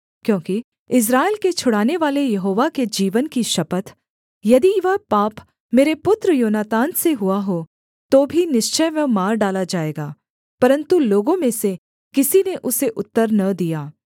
क्योंकि इस्राएल के छुड़ानेवाले यहोवा के जीवन की शपथ यदि वह पाप मेरे पुत्र योनातान से हुआ हो तो भी निश्चय वह मार डाला जाएगा परन्तु लोगों में से किसी ने उसे उत्तर न दिया